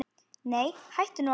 Nei, hættu nú alveg!